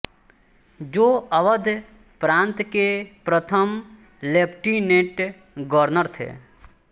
जो अवध प्रान्त के प्रथम लेफ्टिनेंट गवर्नर थे